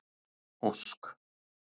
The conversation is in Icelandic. Ósk